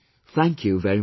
Thank you very much